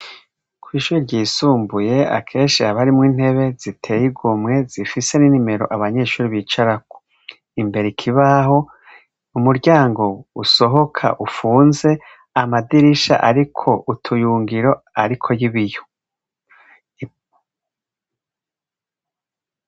Kw'ishure ryisumbuye akenshi haba harimwo intebe ziteye igomwe, zifise n'inomero abanyeshure bicarako. Imbere ikibaho, umuryango usohoka upfunze, amadirisha ariko utuyungiro ariko y'ibiyo.